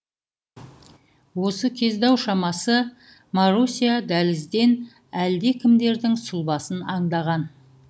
осы кезде ау шамасы маруся дәлізден әлдекімдердің сұлбасын аңдаған